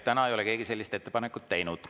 Täna ei ole keegi sellist ettepanekut teinud.